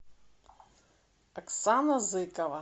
оксана зыкова